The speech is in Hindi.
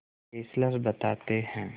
फेस्लर बताते हैं